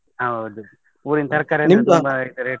ಹೌದು, ಊರಿನ್ ತರ್ಕಾರಿ ಎಲ್ಲಾ .